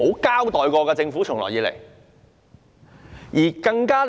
這點政府從來沒有交代。